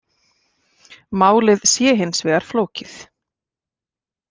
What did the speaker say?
Málið sé hins vegar flókið